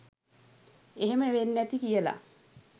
එහෙම වෙන්නැති කියලා